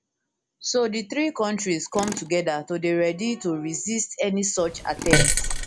so di three kontris come togeda to dey ready to resist any such attempt